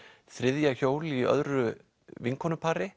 þriðja hjól í öðru